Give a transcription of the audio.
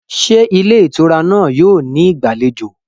Ṣé ilé ìtura náà yóò ní ìgbàlejò?